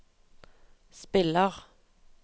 spiller